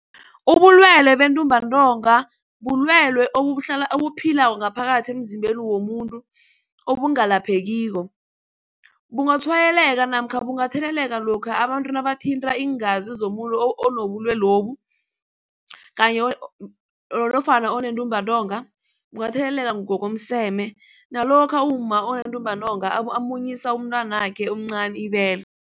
Ubulwelwe bentumbantonga bulwelwe obuphilako ngaphakathi emzimbeni womuntu obungalaphekiko. Bungatshwayeleke namkha bungatheleleka lokha abantu nabathinta iingazi zomuntu onobulwelobu nofana onentumbantonga bungatheleleka ngokomseme nalokha umma onentumbantonga amunyisa umntwanakhe omncani ibele.